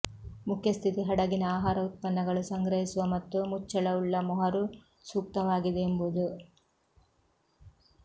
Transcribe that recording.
ಮುಖ್ಯ ಸ್ಥಿತಿ ಹಡಗಿನ ಆಹಾರ ಉತ್ಪನ್ನಗಳು ಸಂಗ್ರಹಿಸುವ ಮತ್ತು ಮುಚ್ಚಳವುಳ್ಳ ಮೊಹರು ಸೂಕ್ತವಾಗಿದೆ ಎಂಬುದು